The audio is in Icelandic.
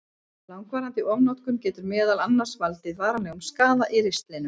Langvarandi ofnotkun getur meðal annars valdið varanlegum skaða í ristlinum.